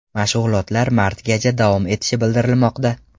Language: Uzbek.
Mashg‘ulotlar martgacha davom etishi bildirilmoqda.